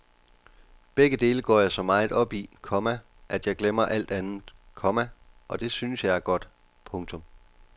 Begge dele går jeg så meget op i, komma at jeg glemmer alt andet, komma og det synes jeg er godt. punktum